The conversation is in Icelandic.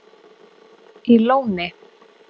í Lóni